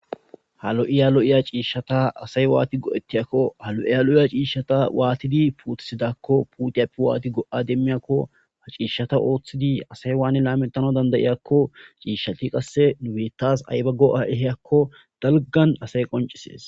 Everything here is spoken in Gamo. halo7iya lo7iya ciishshata asay waati go7ettiyakko halo7iya lo7iya ciishshata waatidi puutisidakko puutiyappi waati go7a demmiyakko ha ciishshata ooththidi asay waan laametano dandayiyakko ciishshati qasse nu bettas aybago a7eheyakko dalgan asay qoncisees